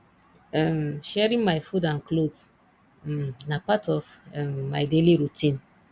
um sharing my food and clothes um na part of um my daily routine